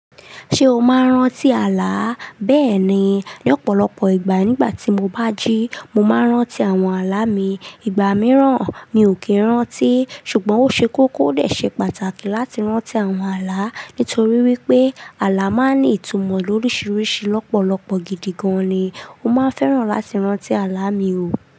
Ṣé o máa ń rántí àlá? Bẹ́ẹ̀ni, lọ́pọ̀lọpọ̀ ìgbà nígbà tí mo bá jí, mo máa ń rántí àwọn àlá mi. Ìgbà mìíràn mi ò kì í rántí, ṣùgbọ́n ó ṣe kókó dé ṣe pàtàkì láti rántí àwọn àlá nítorí wípé àlá máa ń ní ìtumọ̀ lórísìírísìí lọ́pọ̀lọpọ̀ gidi gan-an ni. Mo máa ń fẹ́ràn láti rántí àlá mi o.